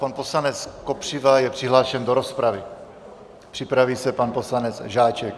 Pan poslanec Kopřiva je přihlášen do rozpravy, připraví se pan poslanec Žáček.